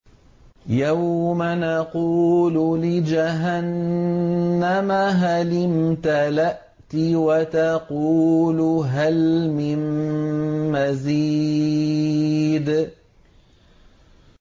يَوْمَ نَقُولُ لِجَهَنَّمَ هَلِ امْتَلَأْتِ وَتَقُولُ هَلْ مِن مَّزِيدٍ